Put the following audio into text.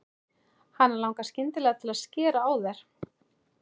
Hana langar skyndilega til að skera á þær.